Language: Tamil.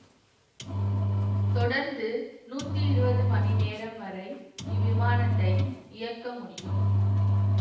தொடர்ந்து நூற்றி இருபது மணி நேரம் வரை இவ்விமானத்தை இயக்க முடியும்